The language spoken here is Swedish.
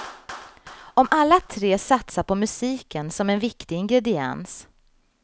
Och alla tre satsar på musiken som en viktig ingrediens.